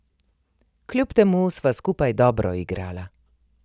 Kljub temu sva skupaj dobro igrala.